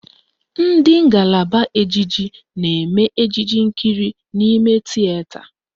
Ndị ngalaba ejije na-eme ejije nkiri n'ime tieta